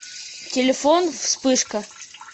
телефон вспышка